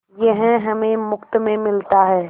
यह हमें मुफ्त में मिलता है